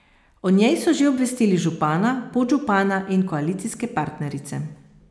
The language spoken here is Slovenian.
O njej so že obvestili župana, podžupana in koalicijske partnerice.